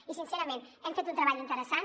i sincerament hem fet un treball interessant